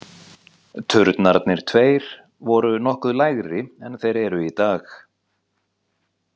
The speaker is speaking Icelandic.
Turnarnir tveir voru nokkru lægri en þeir eru í dag.